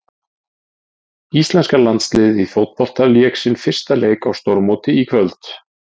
Íslenska landsliðið í fótbolta lék sinn fyrsta leik á stórmóti í kvöld.